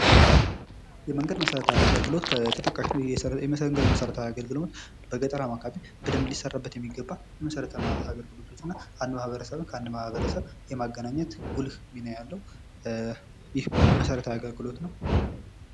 የመንገድ መሰረታዊ የአገልግሎት ከተጠቃሽ ላይ የመንገድ መሠረታዊ አገልግሎት በገጠራማ አካባቢዎች ላይ በደንብ ሊሰራበት የሚገባ መሰረታዊ ልማት አገልግሎትና አንድ ማህበረሰብ ከአንድ ማህበረሰብ ጋር ለማገናኘ ት ጉልህ ሚና ያለው ይህም መሰረታዊ አገልግሎት ነው